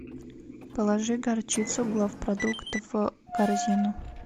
положи горчицу главпродукт в корзину